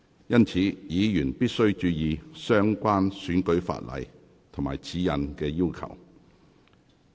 因此，議員必須注意相關選舉法例及指引的要求。